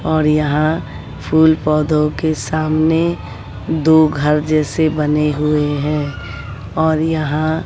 और यहां फूल पौधों के सामने दो घर जैसे बने हुए हैं और यहां--